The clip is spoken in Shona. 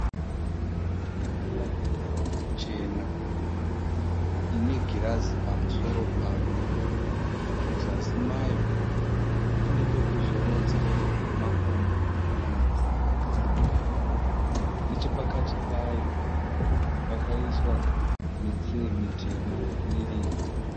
Tafura chena ine girazi pamusoro payo muzasi mayo ine pekuzorodza makumbo kana munhu akagara nechepakati payo pakaisiwa mitsee mitema miviri